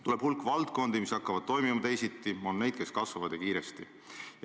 Tuleb hulk valdkondi, mis hakkavad toimima teisiti, on neid, mis kasvavad, ja kiiresti.